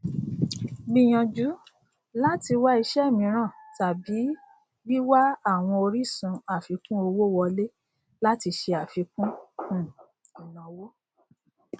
gbìyànjú láti wá ìṣe ímiran tàbí wíwá àwọn orísun àfikún owó wọlé láti ṣe àfikún um ìnáwó